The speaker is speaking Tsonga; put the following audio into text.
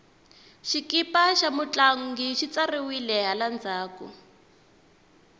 xikipa xa mutlangi xi tsariwile hala ndzhaku